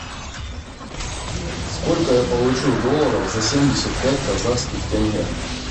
сколько я получу долларов за семьдесят пять казахских тенге